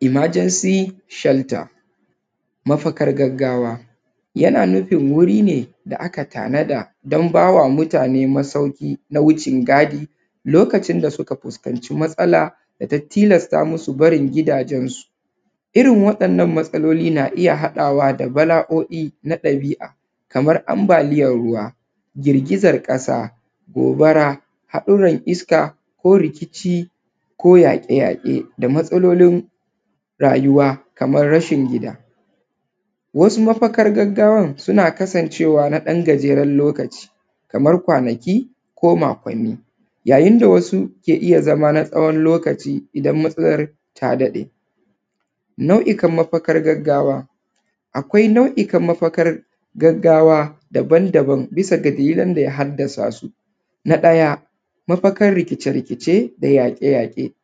Emergency shelter. Mafakan gaggawa yana nufin wuri ne da aka tanada don bai wa mutane mafaki na wucin gadi lokacin da ta fuskanta matsala, natilasta musu barin gidajensu irin wa’yannan matsaloli na iya haɗawa da bala’oi na ɗabi’a kaman anbaliyan ruwa, girgizan ƙasa gobara a irin iska ko rikici ko yaƙe-yaƙe. Matsalolin rayuwa kaman rashin gida, wasu mafakar gaggawan suna kasancewa ɗan gajeren lokaci kamar kwanaki ko makwanni, yayin da wasu yakan iya zama na tsawon lokaci dan matsalar ta daɗe. Nau’ukan mafakar gaggawa, akwai nau’ikan mafakar gaggawa daban-daban bisa da dalilan da ya haddasa su na ɗaya mafakar rikice-rikice ko yaƙe-yaƙe,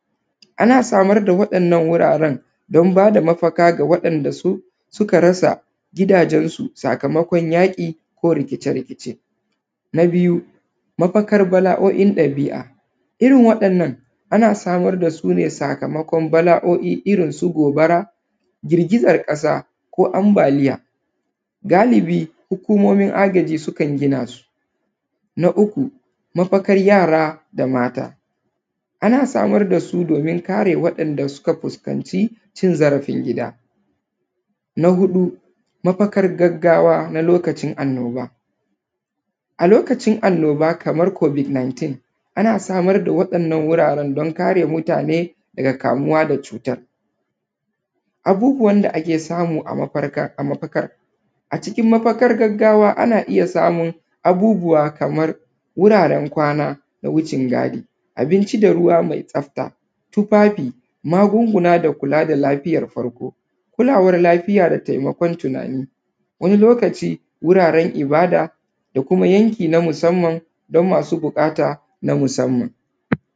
ana samar da mafakar wuraren dan ba da mafaka da waɗanda su suka rasa sakamakon yaƙi ko rikice-rikice na biyu mafakar gaggawan ɗabi’a irin waɗannan ana samar da su ne sakamakon bala’o’i irin su gobara gigizan ƙasa ko ambaliya, galibi hukumomin agaji sukan gina su. Na uku mafakar yara da mata, ana samar da su domin kare waɗanda suka fuskanci zarafin gida, na huɗu mafakar gaggawa na lokacin annoba, a lokacin annoba kaman kobid 19 ana samar da waɗan wajajen don kare mutane daga kamuwa da cutan abubbuwan da ake samu a mafakan a cikin mafakan gaggawa. Ana iya samun abubbuwa kaman wuraren kwana na wucin gadi, tufafi magunguna da kula da lafiyan farko, kulawan lafiya da taimakon tunani, wani lokaci guraren ibada da kuma yanki na musamman don masu buƙata na musamman.